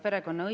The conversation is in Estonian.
Aitäh!